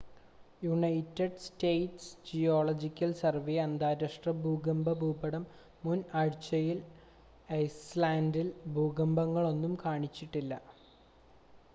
United States Geological Survey അന്താരാഷ്ട്ര ഭൂകമ്പ ഭൂപടം മുൻ ആഴ്ചയിൽ ഐസ്ലാൻഡിൽ ഭൂകമ്പങ്ങളൊന്നും കാണിച്ചില്ല